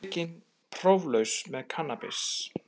Tekinn próflaus með kannabis